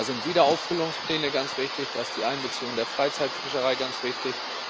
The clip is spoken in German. Da sind Wiederauffüllungspläne ganz wichtig, da ist die Einbeziehung der Freizeitfischerei ganz wichtig.